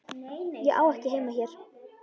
Ég á ekki heima hér.